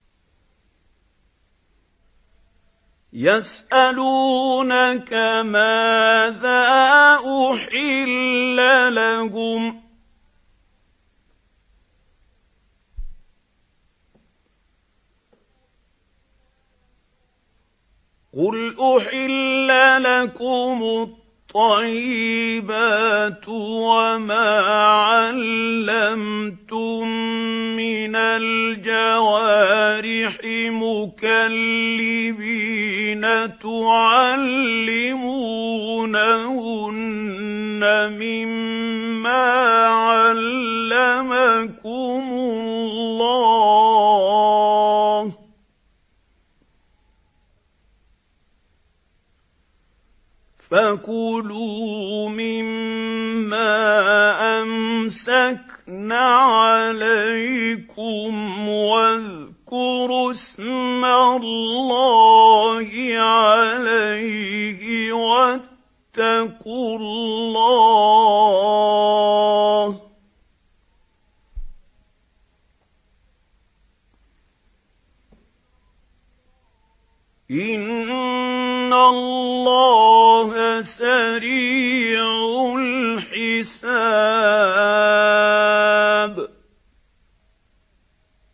يَسْأَلُونَكَ مَاذَا أُحِلَّ لَهُمْ ۖ قُلْ أُحِلَّ لَكُمُ الطَّيِّبَاتُ ۙ وَمَا عَلَّمْتُم مِّنَ الْجَوَارِحِ مُكَلِّبِينَ تُعَلِّمُونَهُنَّ مِمَّا عَلَّمَكُمُ اللَّهُ ۖ فَكُلُوا مِمَّا أَمْسَكْنَ عَلَيْكُمْ وَاذْكُرُوا اسْمَ اللَّهِ عَلَيْهِ ۖ وَاتَّقُوا اللَّهَ ۚ إِنَّ اللَّهَ سَرِيعُ الْحِسَابِ